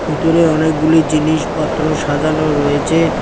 ভিতরে অনেকগুলি জিনিসপত্র সাজানো রয়েছে।